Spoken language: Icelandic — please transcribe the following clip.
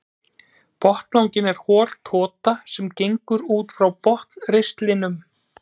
Botnlanginn er hol tota sem gengur út frá botnristlinum.